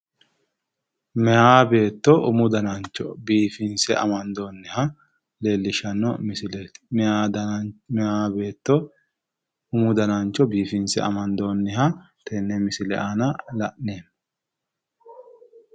meya beetto umu danancho biifinse amandoonniha leellishshanno misileeti meya beetto umu danancho biifinse amandoonniha tenne misile aana la'neemmo.